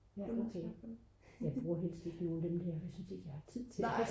ja okay jeg bruger helst ikke nogen af dem der jeg synes ikke at jeg har tid til det